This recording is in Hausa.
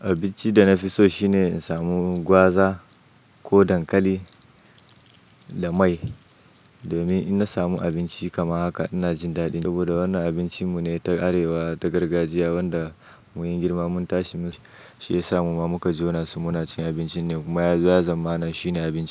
Abinci da na fi so shine in samu gwaza ko dankali da mai. Domin in na samu abinci kaman haka ina jin daɗi saboda wannan abincin mu ne ta arewa ta gargajiya wanda mun yi girma mun tashi. Shi ya sa mu ma muka jona su muna cin abincin ne kuma ya zo ya zamana shine abinci.